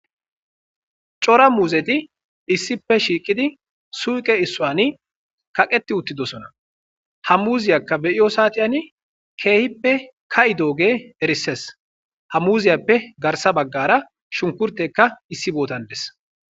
cora muuzeti issipe shiiqidi suuqe issuwani kaqeti uttidosona hammuuziyakka beyiyo saatiyani keehippe ka7i dooge erisses hamuziyappe garsa baggara shunkurteka issi bootandes